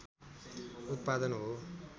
उत्पादन हो